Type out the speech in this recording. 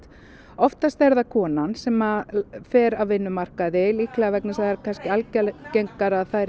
oftast er það konan sem fer af vinnumarkaði líklega vegna þess að það er algengara að þær